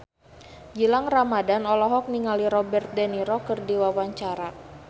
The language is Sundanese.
Gilang Ramadan olohok ningali Robert de Niro keur diwawancara